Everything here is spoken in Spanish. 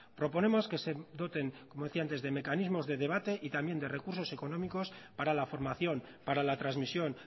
proponemos que se doten como decía antes de mecanismo de debate y también de recursos económicos para la formación para la transmisión